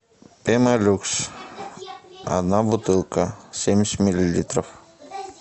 пемолюкс одна бутылка семьдесят миллилитров